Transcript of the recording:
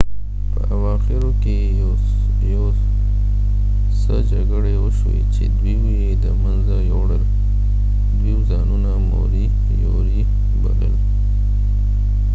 دوی ځانونه موری یوری بلل په اواخرو کی یو څه جګړی وشوی چی دوی moriori یی د منځه ویوړل